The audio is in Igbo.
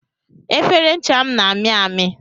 Efere ncha m na ami ami